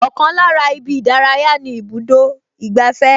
Ọkàn lára ibi ìdárayá ni ibùdó ìgbafẹ́